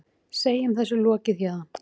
Segjum þessu lokið héðan.